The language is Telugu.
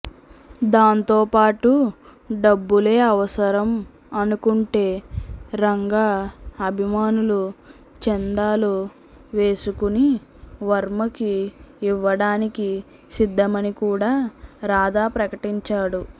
దాంతో పాటు డబ్బులే అవసరం అనుకుంటే రంగ అభిమానులు చందాలు వేసుకుని వర్మకి ఇవ్వడానికి సిద్ధమని కూడా రాధా ప్రకటించాడు